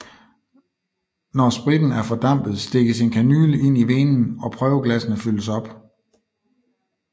Når spritten er fordampet stikkes en kanyle ind i venen og prøveglassene fyldes op